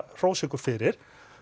hrósa ykkur fyrir